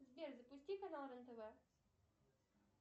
сбер запусти канал рен тв